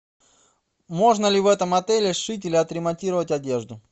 можно ли в этом отеле сшить или отремонтировать одежду